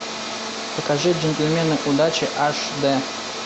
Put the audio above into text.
покажи джентльмены удачи аш дэ